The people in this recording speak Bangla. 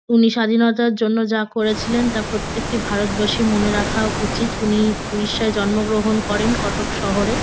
উনি স্বাধীনতার জন্য যা করেছিলেন তা প্রত্যেকটি ভারতবাসীর মনে রাখা উচিত। উনি উড়িষ্যায় জন্মগ্রহণ করেন কটক শহরে।